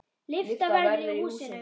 Lyfta verður í húsinu.